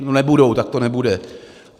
No, nebudou, tak to nebude.